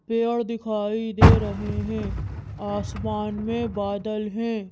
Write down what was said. पेड़ दिखाई दे रहे हैं आसमान में बादल हैं।